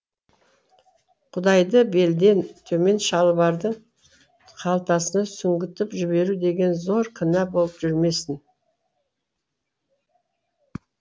құдайды белден төмен шалбардың қалтасына сүңгітіп жіберу деген зор күнә болып жүрмесін